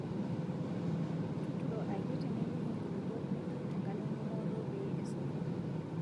Tuturo akiti nipik enkulupuok nituru enkalo engumoto pee esoto